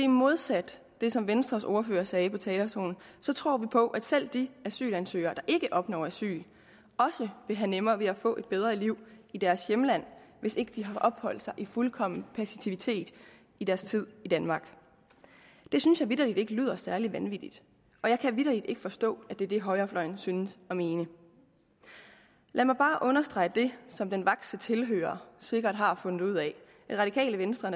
modsat det som venstres ordfører sagde på talerstolen tror vi på at selv de asylansøgere der ikke opnår asyl også vil have nemmere ved at få et bedre liv i deres hjemland hvis ikke de har opholdt sig i fuldkommen passivitet i deres tid i danmark det synes jeg vitterlig ikke lyder særlig vanvittigt jeg kan vitterlig ikke forstå at det er det højrefløjen synes at mene lad mig bare understrege det som den vakse tilhører sikkert har fundet ud af radikale venstre